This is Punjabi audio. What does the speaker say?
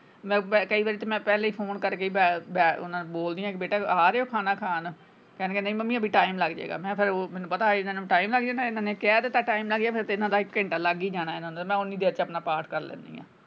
ਮੈਂ ਕਈ ਵਾਰੀ ਤੇ ਮੈਂ ਪਹਿਲੇ ਈ phone ਕੱਢ ਕੇ ਬੇਟਾ ਆ ਰਹੇ ਹੋ ਖਾਣਾ ਖਾਣ ਕਹਿੰਦੇ ਨਹੀਂ ਮੰਮੀ ਹਜੇ time ਲੱਗ ਜਾਏਗਾ ਮੈਂ ਉਹ ਫੇਰ ਮੈਨੂੰ ਪਤਾ ਇਹਨਾਂ ਨੂੰ time ਲੱਗ ਜਾਣਾ ਇਹਨਾਂ ਨੇ ਕਹਿ ਦਿੱਤਾ time ਲੱਗ ਜਾਣਾ ਇਹਨਾਂ ਦਾ ਇੱਕ ਘੈਂਟਾ ਲੱਗ ਈ ਜਾਣਾ ਮੈਂ ਓਨੀ ਦੇਰ ਚ ਆਪਣਾ ਪਾਠ ਕਰ ਲੈਣੀ ਆਂ।